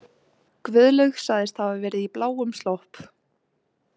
Guðlaug sagðist hafa verið í bláum slopp.